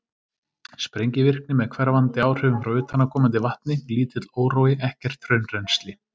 Sprengivirkni með hverfandi áhrifum frá utanaðkomandi vatni, lítill órói, ekkert hraunrennsli.